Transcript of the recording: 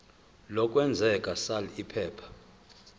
lokwengeza sal iphepha